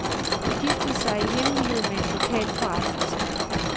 Hun giftede sig i hemmelighed med en lokal forretningsmand.